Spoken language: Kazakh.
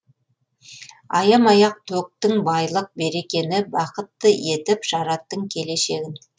аямай ақ төктің байлық берекені бақытты етіп жараттың келешегін